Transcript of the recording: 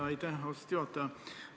Aitäh, austatud juhataja!